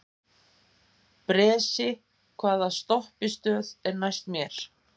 Bresi, hvaða stoppistöð er næst mér?